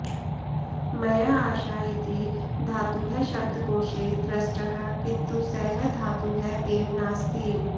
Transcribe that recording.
मया आशा इति धातुः शब्दकोशे दृष्टः किन्तु सः धातुः एव नास्ति